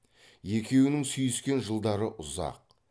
екеуінің сүйіскен жылдары ұзақ